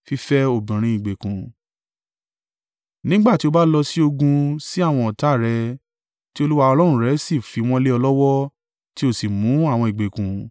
Nígbà tí o bá lọ sí ogun sí àwọn ọ̀tá rẹ tí Olúwa Ọlọ́run rẹ sì fi wọ́n lé ọ lọ́wọ́ tí o sì mú àwọn ìgbèkùn,